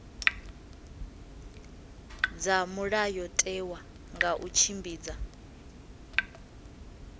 dza mulayotewa nga u tshimbidza